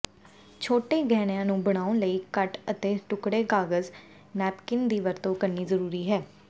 ਛੋਟੇ ਗਹਿਣਿਆਂ ਨੂੰ ਬਣਾਉਣ ਲਈ ਕਟ ਅਤੇ ਟੁਕੜੇ ਕਾਗਜ਼ ਨੈਪਕਿਨ ਦੀ ਵਰਤੋਂ ਕਰਨੀ ਜ਼ਰੂਰੀ ਹੈ